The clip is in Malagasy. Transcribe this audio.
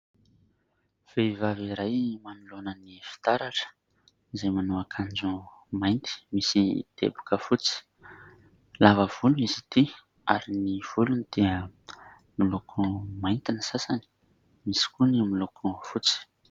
Vehivavy iray manoloana ny fitaratra izay manao akanjo mainty misy teboka fotsy. Lava volo izy ity ary ny volony dia miloko mainty ny sasany, misy koa ny miloko fotsy.